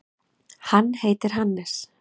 Hann heitir Hannes.